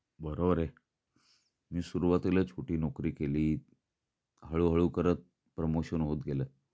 बरोबर आहे. मी सुरवातीला छोटी नोकरी केली. हळूहळू करत प्रमोशन होत गेले.